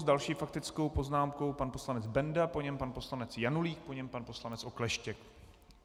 S další faktickou poznámkou pan poslanec Benda, po něm pan poslanec Janulík, po něm pan poslanec Okleštěk.